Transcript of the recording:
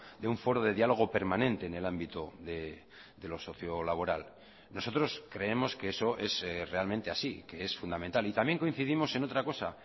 de un foro de diálogo permanente en el ámbito de lo socio laboral nosotros creemos que eso es realmente así que es fundamental y también coincidimos en otra cosa